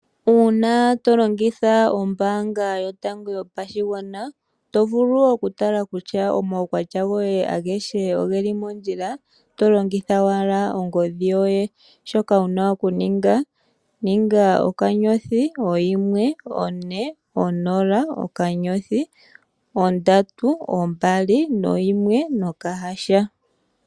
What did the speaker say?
Uuna to longitha ombanga yotango yopashigwana oto vulu okutala kutya omaukwatya goye agehe oge li mondjila to longitha owala ongodhi yoye, shoka wu na okuninga, ninga okanyothi, oyimwe, one, onola, okanyothi, ondatu, ombali noyimwe nokahasha.